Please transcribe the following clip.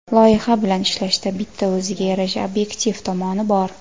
Loyiha bilan ishlashda bitta o‘ziga yarasha obyektiv tomoni bor.